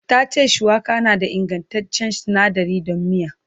Ta ce shuwaka na da ingantaccen sinadari don miya.